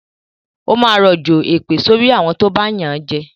Ó máa rọ̀jọ̀ èpè sorí àwọn tó bá yànjẹ